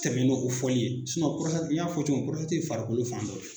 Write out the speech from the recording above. Tɛmɛ ni o fɔli ye n y'a fɔ cogo min ye farikolo fan dɔ de ye